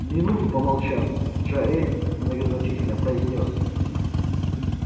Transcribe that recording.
минуту помолчав джаэль многозначительно произнёс